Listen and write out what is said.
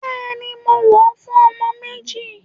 Bẹẹni, mọ wọ fún ọjọ Méjì